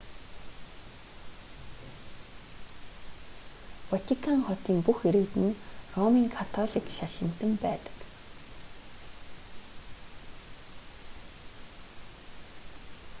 ватикан хотын бүх иргэд нь ромын католик шашинтан байдаг